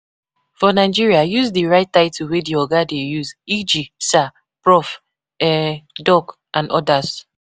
For Nigeria, use di right title wey di oga dey use eg sir, prof, um doc and odas